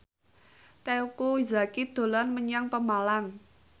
Teuku Zacky dolan menyang Pemalang